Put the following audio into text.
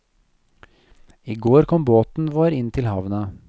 I går kom båten vår inn til havna.